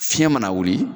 Fiɲɛ mana wuli